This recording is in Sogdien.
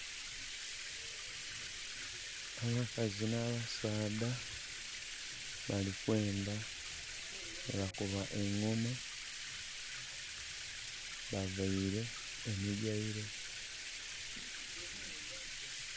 Abakazi na basaadha bali kwemba webakuba engoma. Bavaire emigaire